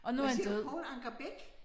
Hvad siger du Poul Anker Bech?